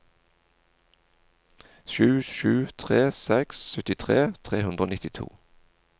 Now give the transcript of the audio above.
sju sju tre seks syttitre tre hundre og nittito